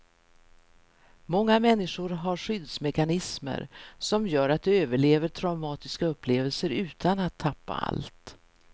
Många människor har skyddsmekanismer som gör att de överlever traumatiska upplevelser utan att tappa allt.